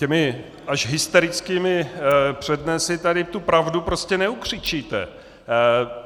Těmi až hysterickými přednesy tady tu pravdu prostě neukřičíte.